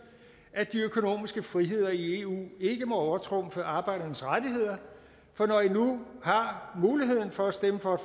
at de økonomiske friheder i eu ikke må overtrumfe arbejdernes rettigheder for når i nu har muligheden for at stemme for